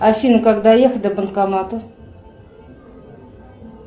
афина как доехать до банкомата